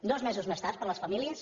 dos mesos més tard per a les famílies